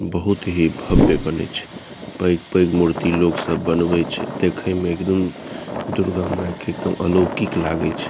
बहुत ही भव्य बने छै पैग-पैग मूर्ति लोग सब बनवे छै देखे में एकदम दुर्गा माय के एकदम अलौकिक लागे छै।